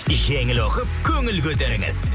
жеңіл оқып көңіл көтеріңіз